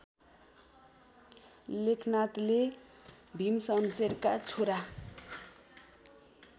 लेखनाथले भीमशमशेरका छोरा